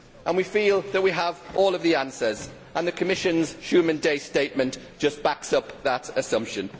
We feel that we have all of the answers and the Commission's Schuman Day statement just backs up that assumption.